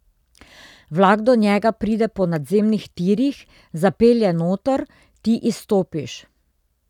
Vlak do njega pride po nadzemnih tirih, zapelje noter, ti izstopiš.